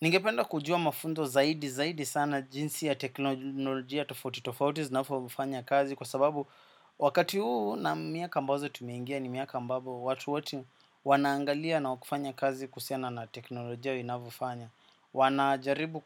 Ningependa kujua mafunzo zaidi zaidi sana jinsi ya teknolojia tofauti tofauti zinavofanya kazi kwa sababu wakati huu na miaka ambazo tumengia ni miaka ambavo watu wote wanaangalia na wa kufanya kazi kuhusiana na teknolojia vinavofanya. Wanajaribu